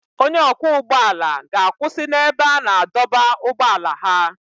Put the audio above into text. Onye ọkwọ ụgbọ ala ga-akwụsị n'ebe a na-adọba ụgbọala ha.